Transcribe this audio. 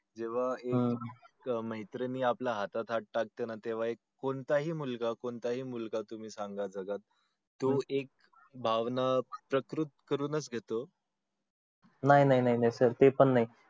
जेव्हा एक मैत्रीण हातात हात टाकते ना तेव्हा एक कोणता हि मुलगा कोणता हि मुलगा तुम्ही सांगा बगा तो एक भावना प्रकृत करून च येतो नाही नाही sir ते पण नाही